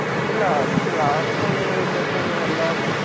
ഇല്ല ഇപ്പോ last ഇറങ്ങിയത് ന്ന് വെച്ച് കഴിഞ്ഞാ എല്ലാം